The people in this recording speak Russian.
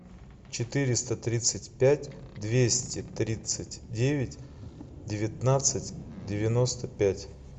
четыреста тридцать пять двести тридцать девять девятнадцать девяносто пять